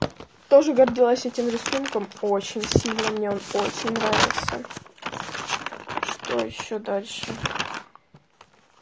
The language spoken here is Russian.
тоже гордилась этим рисункам очень сильно мне очень нравится что ещё дальше